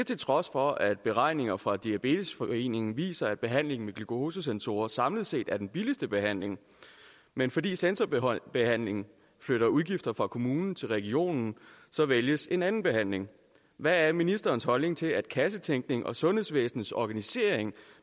til trods for at beregninger fra diabetesforeningen viser at behandlingen med glukosesensorer samlet set er den billigste behandling men fordi sensorbehandlingen flytter udgifter fra kommunen til regionen vælges en anden behandling hvad er ministerens holdning til at kassetænkning og sundhedsvæsenets organisering